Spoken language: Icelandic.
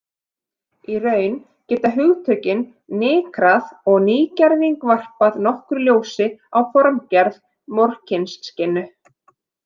Í raun geta hugtökin nykrað og nýgerving varpað nokkru ljósi á formgerð Morkinskinnu.